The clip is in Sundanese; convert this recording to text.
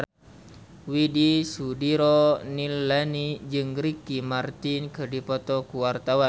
Widy Soediro Nichlany jeung Ricky Martin keur dipoto ku wartawan